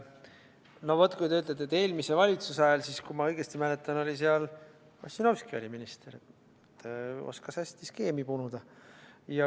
No vot, kui te ütlete, et eelmise valitsuse ajal, siis kui ma õigesti mäletan, oli seal Ossinovski minister ja oskas hästi skeemi punuda.